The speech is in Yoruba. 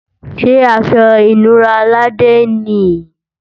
Ṣé aṣọ ìnura Laide nì yí?